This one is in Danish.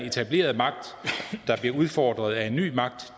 etablerede magt bliver udfordret af ny magt